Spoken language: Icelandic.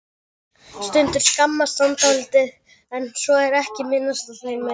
Stundum skammast hann dálítið en svo er ekki minnst á það meir.